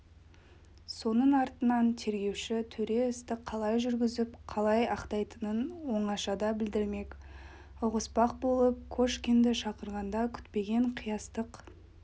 соның артынан тергеуші төре істі қалай жүргізіп қалай аяқтайтынын оңашада білдірмек ұғыспақ болып кошкинді шақырғанда күтпеген қиястық